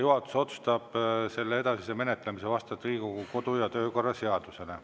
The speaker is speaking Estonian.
Juhatus otsustab selle edasise menetlemise vastavalt Riigikogu kodu‑ ja töökorra seadusele.